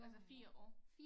Altså 4 år